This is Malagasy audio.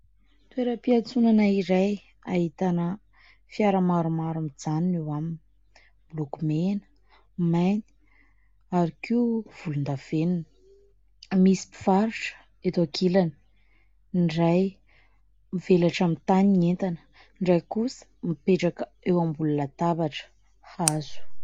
Toeram-piantsonana iray hahitana fiara-maromaro mijanona eo aminy. Miloko mena, mainty ary koa volondavenina. Misy mpivarotra eto an-kilany, ny iray mivelatra amin'ny tany ny entana, ny iray kosa mipetraka eo ambony latabatra hazo.